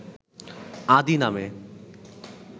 ‘আদি’ নামে